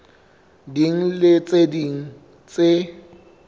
ding le tse ding tse